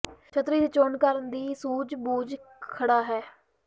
ਛਤਰੀ ਦੀ ਚੋਣ ਕਰਨ ਦੀ ਸੂਝ ਬੂਝ ਖੜ੍ਹਾ ਹੈ